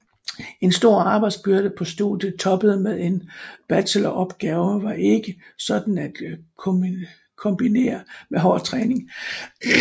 En stor arbejdsbyrde på studiet toppet med en bacheloropgave var ikke sådan at kombinere med hård træning